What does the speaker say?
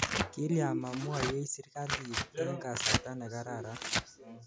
Kilya ma mwoiwech sirikalit eng' kasarta ne kararan?